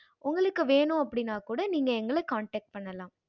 உங்களுக்கு வென்னும் அப்படின்னா கூட நீங்க எங்கள connect பண்ணிக்கலாம்